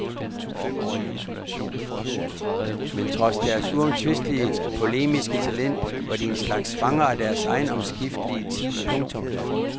Men trods deres uomtvistelige polemiske talent var de en slags fanger af deres egen omskiftelige tid. punktum